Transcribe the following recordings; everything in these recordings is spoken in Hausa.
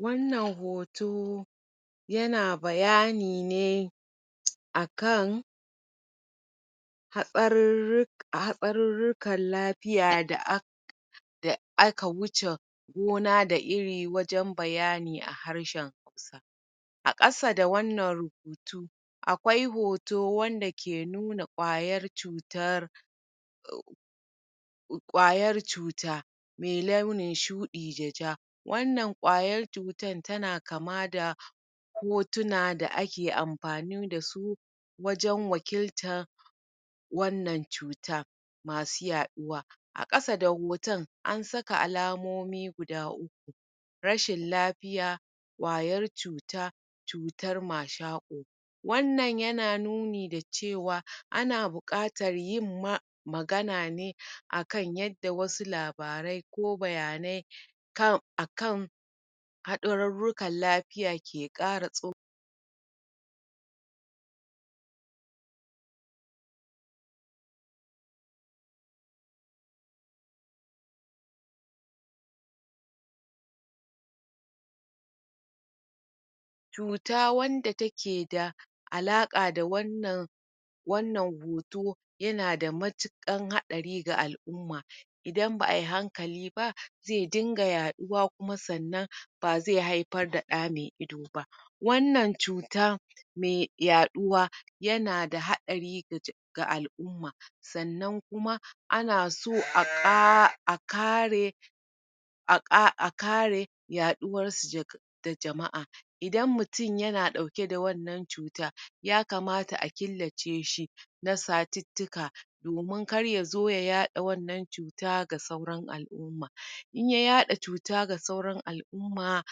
wannan hoto yana bayani ne akan hatsarur hatsarurrukan lafiya da aka da aka wuce gona da iri wajen bayani a harshen a ƙasa da wannan rubutu akwai hoto wanda ke nuna ƙwayar cutar ƙwayar cuta mai launin shuɗi da ja, wannan ƙwayar cutar tana kama da hotuna da ake amfani da su wajen wakiltar wannan cuta masu yaɗuwa, a ƙasa da hoton an saka almomi guda uku rashin lafiya ƙwayar cuta cutar mashaƙo wannan yana nuni da cewa ana buƙatar yin ma magana ne akan yadda wasu labarai ko bayanai kan akan haɗarurrukan lafiya ke ƙara tso cuta wanda take da alaƙa da wannan wannan hoto yana da matuƙar haɗari ga al'umma idan ba ai hankali ba zai dinga yaɗuwa ba zai haifar da ɗa mai ido ba mai yaɗuwa yana da haɗari ga al'umma sannan kuma ana so a kare a kare yaɗuwarsu da jama'a idan mutun yana ɗauke da wannan cuta ya kamata a killace shi na satuttuka domin kar ya zo ya yaɗa wannan cuta ga sauran al'umma, in ya yaɗa cuta ga sauran al'umma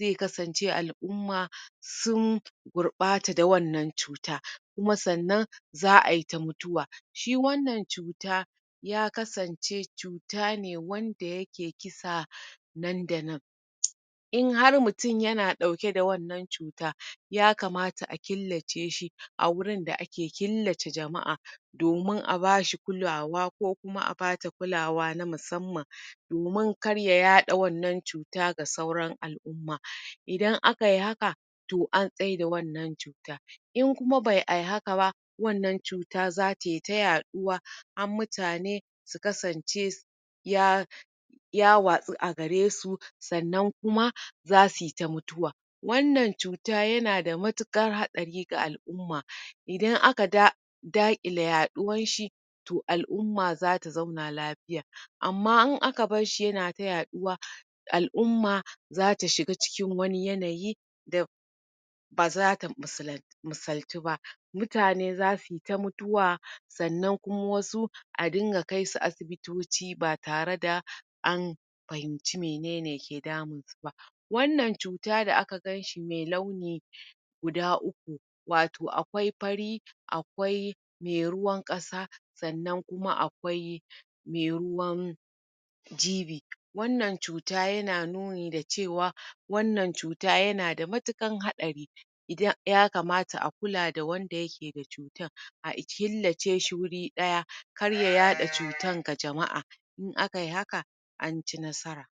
zai kasance al'umma sun gurɓata da wannan cuta kuma sannan za ai ta mutuwa shi wannan cuta ya aksance cuta ne wanda yake kisa nan da nan in har mutum yana ɗauke da wannan cuta ya kamata a killace shi a wurin da ake killace jama'a domin a ba shi kulawa ko kuma a bata kulawa na musamman domin kar ya yaɗa wannan cuta ga sauran al'umma to an tsaida wannan cuta in kuma ba ai haka ba wannan cuta za tai ta yaɗuwa har mutane su kasance ya ya watsu a garesu sannan kuma za sui ta mutuwa wannan cuta yana da matuƙar hatsari ga al'umma idan aka ga daƙile yaɗuwar shi to al'umma za su zauna lafiya, amma in ka bashshi tana ta yaɗuwa, al'umma za ta shiga cikin wani yanayi da ba za ta misaltu ba mutane za sui ta mutuwa sannan kuma wasu a dinga kai su asibitoci ba tare da an fahimci mene ne ke damunsu ba wannan cuta da aka ganshi mai launi guda uku wato akwai fari akwai me ruwan ƙasa sanna kuma akwai mai ruwan jibi wannan cuta yana nuni da cewa wannan cuta yana da matuƙar hatsari idan ya akmata akula da wanda ke da cutar a killace shi wuri ɗaya kar ya yaɗa cutar ga jama'a in akai hana an ci nasara.